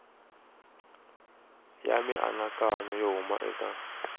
ya mianakanyo yo huma eka